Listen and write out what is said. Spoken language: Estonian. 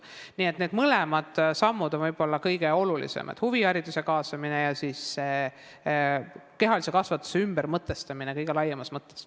Nii et need sammud on võib-olla kõige olulisemad, huvihariduse kaasamine ja kehalise kasvatuse ümbermõtestamine kõige laiemas mõttes.